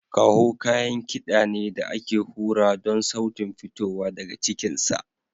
Kaho kayan kiɗa ne da ake hura don sautin fitowa daga cikinsa.